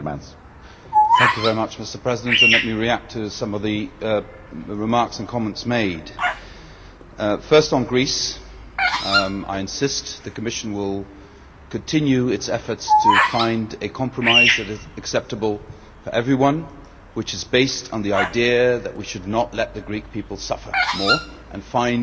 Mr President, let me react to some of the remarks and comments made. First, on Greece, I insist the Commission will continue its efforts to find a compromise which is acceptable to everyone, which is based on the idea that we should not let the Greek people suffer more, and find a way out of this problem.